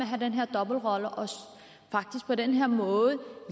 have den her dobbeltrolle og faktisk på den måde